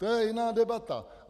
To je jiná debata.